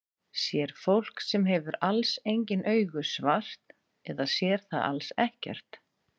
Sér fólk sem hefur alls engin augu svart eða sér það alls ekkert?